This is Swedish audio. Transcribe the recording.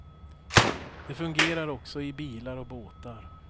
De fungerar också i bilar och båtar.